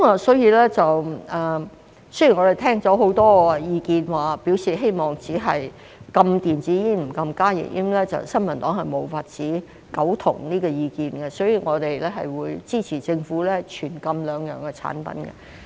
雖然我們聽了很多意見表示希望只禁電子煙而不禁加熱煙，但新民黨對這個意見無法苟同，所以我們會支持政府全禁兩項產品。